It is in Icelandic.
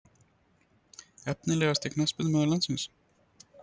Efnilegasti knattspyrnumaður landsins?